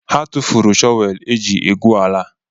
Ha tụfuru shọvelu eji egwu ala